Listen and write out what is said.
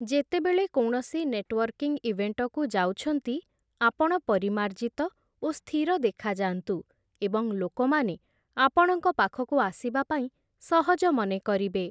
ଯେତେବେଳେ କୌଣସି ନେଟୱର୍କିଂ ଇଭେଣ୍ଟକୁ ଯାଉଛନ୍ତି, ଆପଣ ପରିମାର୍ଜିତ ଓ ସ୍ଥିର ଦେଖାଯାନ୍ତୁ ଏବଂ ଲୋକମାନେ ଆପଣଙ୍କ ପାଖକୁ ଆସିବାପାଇଁ ସହଜ ମନେକରିବେ ।